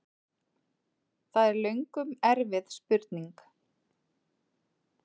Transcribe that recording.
Það er löngum erfið spurning!